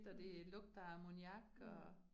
Mh. Mh